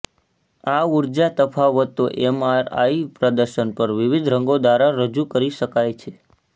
આ ઊર્જા તફાવતો એમઆરઆઈ પ્રદર્શન પર વિવિધ રંગો દ્વારા રજૂ કરી શકાય છે